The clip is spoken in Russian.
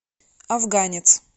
афганец